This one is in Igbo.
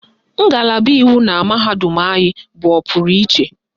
Ngalaba iwu na mahadum anyị bụ ọpụrụ iche.